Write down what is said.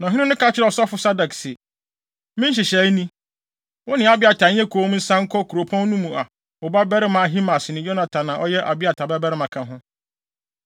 Na ɔhene no ka kyerɛɛ ɔsɔfo Sadok se, “Me nhyehyɛe ni: Wo ne Abiatar nyɛ komm nsan nkɔ kuropɔn no mu a wo babarima Ahimaas ne Yonatan a ɔyɛ Abiatar babarima ka ho.